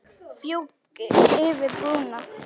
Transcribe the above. Fjúki yfir brúna.